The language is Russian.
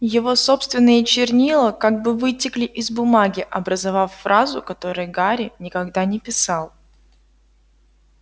его собственные чернила как бы вытекли из бумаги образовав фразу которую гарри никогда не писал